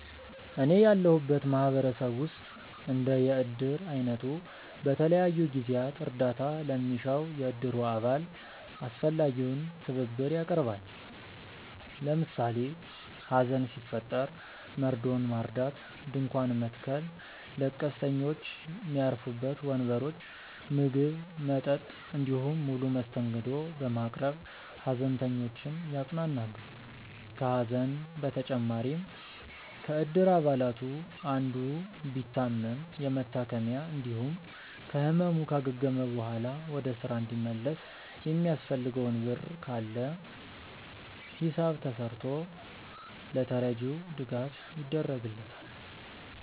እኔ ያለሁበት ማህበረሰብ ውስጥ እንደ የእድር አይነቱ በተለያዩ ጊዜያት እርዳታ ለሚሻው የእድሩ አባል አስፈላጊውን ትብብር ያቀርባል። ለምሳሌ ሀዘን ሲፈጠር መርዶውን ማርዳት፣ ድንኳን መትከል፣ ለቀስተኞች ሚያርፉበት ወንበሮች፣ ምግብ፣ መጠጥ እንዲሁም ሙሉ መስተንግዶ በማቅረብ ሃዘንተኞችን ያጽናናሉ። ከሀዘን በተጨማሪም ከእድር አባላቱ አንዱ ቢታመም የመታከሚያ እንዲሁም ከህመሙ ካገገመ በኋላ ወደ ስራ እንዲመለስ የሚያስፈልገው ብር ካለ ሂሳብ ተስርቶ ለተረጂው ድጋፍ ይደረግለታል።